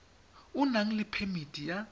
o nang le phemiti ya